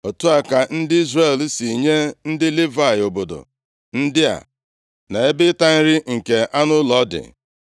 Otu a ka ndị Izrel si nye ndị Livayị obodo ndị a na ebe ịta nri nke anụ ụlọ dị.